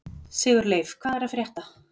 Sigurleif, hvað er að frétta?